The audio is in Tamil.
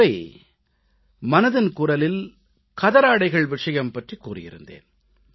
ஒருமுறை மனதின் குரலில் கதராடைகள் விஷயம் பற்றிக் கூறியிருந்தேன்